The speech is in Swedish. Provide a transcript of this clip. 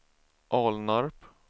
Alnarp